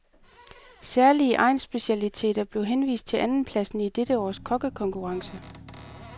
Særlige egnsspecialiteter blev henvist til andenpladsen i dette års kokkekonkurrence.